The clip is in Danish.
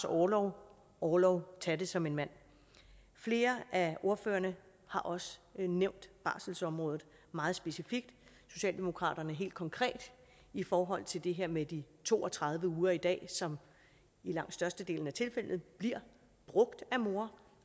orlov orlov ta det som en mand flere af ordførerne har også nævnt barselsområdet meget specifikt socialdemokratiet helt konkret i forhold til det her med de to og tredive uger i dag som i langt størstedelen af tilfældene bliver brugt af mor